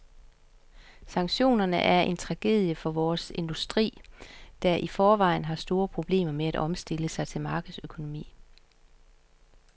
Sanktionerne er en tragedie for vores industri, der i forvejen har store problemer med at omstille sig til markedsøkonomi.